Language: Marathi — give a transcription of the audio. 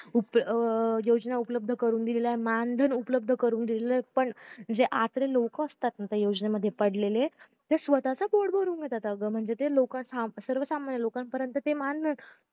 उप अं योजना उपलब्ध करून दिलेल्या मानधन उपलब्ध करून दिलेलं पण जे आटले लोक असता ना त्या योजनेमध्ये पडलेलं ते स्वतःच पोट भरून घेता आग म्हणजे ते लोकांचं सर्वसामान्य लोकांपर्यंत